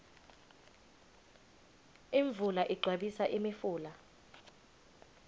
imvula igcwabisa imifula